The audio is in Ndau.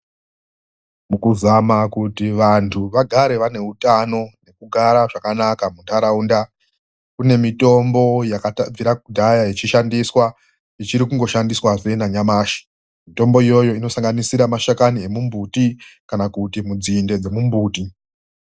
Mukuzama kuti vanhu vagare vane utano nekugara zvakanaka muntaraunda kune mitombo yakabvira kudhaya yeishandiswa ichiri kungoshandiswa nanyamashi. Mitombo iyoyo inosanganisira mashakani emimbuti kana kuti mudzinde dzemumbuti.